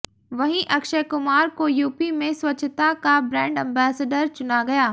वहीं अक्षय कुमार को यूपी में स्वच्छता का ब्रेंड अंबेसडर चुना गया